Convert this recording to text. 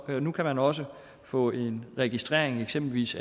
at nu kan man også få en registrering af eksempelvis